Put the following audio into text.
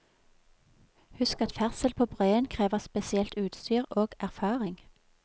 Husk at ferdsel på breen krever spesielt utstyr og erfaring.